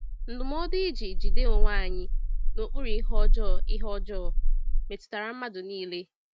Ndụmọdụ iji “jide onwe anyị n’okpuru ihe ọjọọ” ihe ọjọọ” metụtara mmadụ niile.